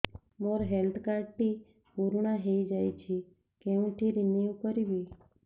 ମୋ health card ଟି ପୁରୁଣା ହେଇଯାଇଛି କେଉଁଠି ରିନିଉ କରିବି